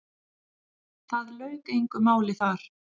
Það lauk engu máli þar.